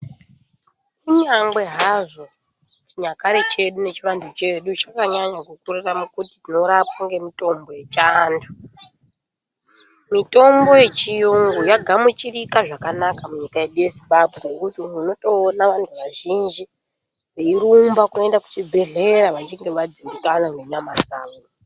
Kunyange hazvo chinyakare chedu nechiantu chedu chanyanya kukurira mukuti tinorapwa ngemitombo yechiantu. Mitombo yechiyungu yagamuchirika zvakanaka munyika yedu yezimbambwe. Ngekuti muntu unotoona vantu vazhinji veirumba kuenda kuchibhedhleya vachinge vadzimbikana nenyama dzavo.